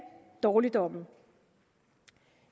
dårligdomme